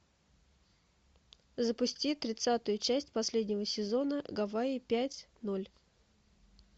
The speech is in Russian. запусти тридцатую часть последнего сезона гавайи пять ноль